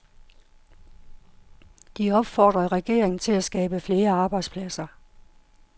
De opfordrede regeringen til at skabe flere arbejdspladser.